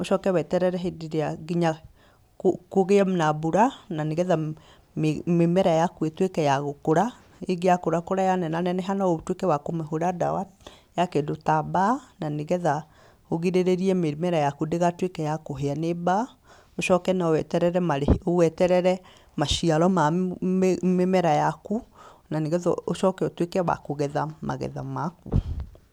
ũcoke wĩterere hĩndĩ ĩrĩa kũgĩe na mbura, na nĩgetha mĩmera yaku ĩtuĩke ya gũkũra rĩngĩ ya kũra yanenaneneha no ũtuĩke wa kũmĩhũra ndawa ya kĩndũ ta mbaa, na nĩgetha ũrigĩrĩrie mĩmera yaku ndĩgatuĩke ya kũhĩa nĩ mbaa. Ũcoke no weterere maciaro ma mĩmera yaku, na nĩgetha ũcoke ũtuĩke wa kũgetha magetha maku.